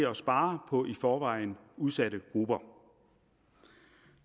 at spare på i forvejen udsatte grupper